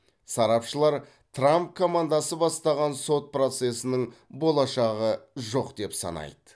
сарапшылар трамп командасы бастаған сот процесінің болашағы жоқ деп санайды